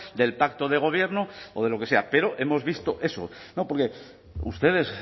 del pacto de gobierno o de lo que sea pero hemos visto eso no porque ustedes